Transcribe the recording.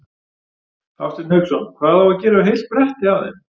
Hafsteinn Hauksson: Hvað á að gera við heilt bretti af þeim?